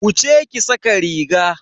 Wuce ki sa ka riga.